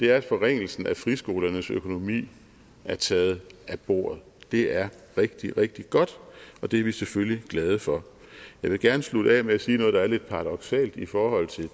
er at forringelsen af friskolernes økonomi er taget af bordet det er rigtig rigtig godt og det er vi selvfølgelig glade for jeg vil gerne slutte af med at sige noget der er lidt paradoksalt i forhold til